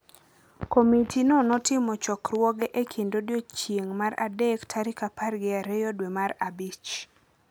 Komiti no notimo chokruoge e kind odiechieng’ mar adek tarik apar gi ariyo dwe mar abich